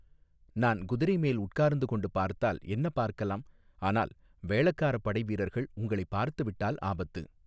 நான் குதிரை மேல் உட்கார்ந்து கொண்டு பார்த்தால் என்ன பார்க்கலாம் ஆனால் வேளக்காரப் படை வீரர்கள் உங்களைப் பார்த்துவிட்டால் ஆபத்து.